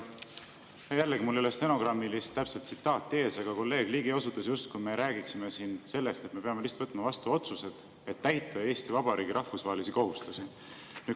Jällegi, mul ei ole stenogrammist täpset tsitaati ees, aga kolleeg Ligi osutas, justkui me räägiksime siin sellest, et me peame lihtsalt võtma vastu otsused, et täita Eesti Vabariigi rahvusvahelisi kohustusi.